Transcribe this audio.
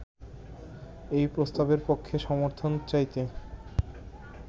এই প্রস্তাবের পক্ষে সমর্থন চাইতে